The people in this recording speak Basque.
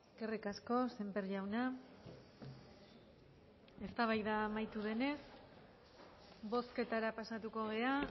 eskerrik asko sémper jauna eztabaida amaitu denez bozketara pasatuko gara